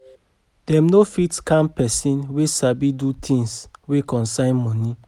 Dem no fit scam pesin wey sabi do things wey concern moni